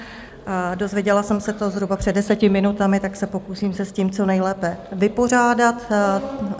Dozvěděla jsem se to zhruba před deseti minutami, tak se pokusím se s tím co nejlépe vypořádat.